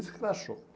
Isso que ela achou.